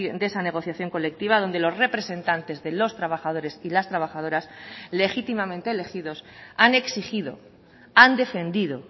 de esa negociación colectiva donde los representantes de los trabajadores y las trabajadoras legítimamente elegidos han exigido han defendido